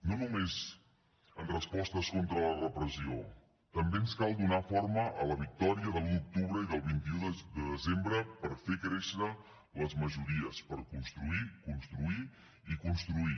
no només en respostes contra la repressió també ens cal donar forma a la victòria de l’un d’octubre i del vint un de desembre per fer créixer les majories per construir construir i construir